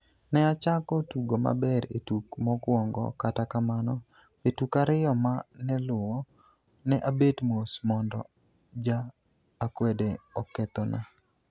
"Ne achako tugo maber e tuk mokwongo, kata kamano, e tuk ariyo ma ne luwo, ne abet mos mondo ja akwede okethona.